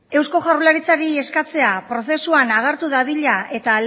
eusko jaurlaritzari eskatzea prozesuan agertu dadila eta